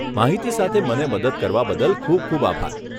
માહિતી સાથે મને મદદ કરવા બદલ ખૂબ ખૂબ આભાર.